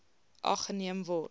ag geneem word